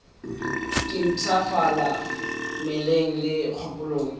ke mpshafala mmeleng le kgopolong